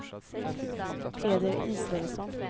Peder Israelsson